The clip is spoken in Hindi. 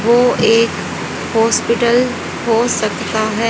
वो एक हॉस्पिटल हो सकता है।